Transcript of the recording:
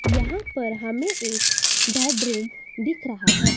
यहां पर हमें एक बेडरूम दिख रहा है।